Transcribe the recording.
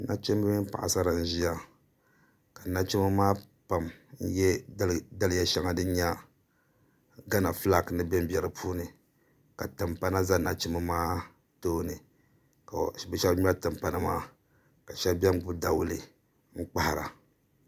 nachimba mini paɣisara n-ʒiya ka nachimba maa pam n-ye daliya shɛŋa din nye gana fulaaki ni benbe di puuni ka Timpana za nachimba maa tooni ka bɛ shɛba ŋmɛri Timpana maa ka shɛba be ni gbibi dawule n-kpahira